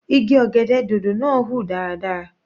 Igi ọ̀gẹ̀dẹ̀ dòdò náà ń hùn dáradára.